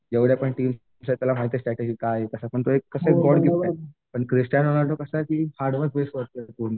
जेवढ्या पण टीम आहेत त्याला माहित आहे स्ट्रॅटेजी काय आहे त्याला कसं एक गॉड गिफ्ट आहे. पण क्रिस्तानो रोनाल्डो कसं पूर्ण